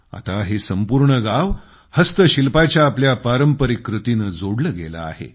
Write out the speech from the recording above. आता हे संपूर्ण गाव हस्तशिल्पाच्या आपल्या पारंपरिक कृतीनं जोडलं गेलं आहे